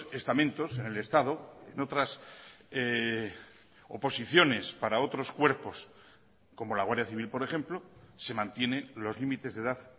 estamentos en el estado en otras oposiciones para otros cuerpos como la guardia civil por ejemplo se mantiene los límites de edad